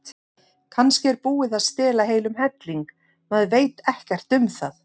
Kannski er búið að stela heilum helling, maður veit ekkert um það.